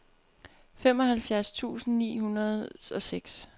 femoghalvfjerds tusind ni hundrede og seks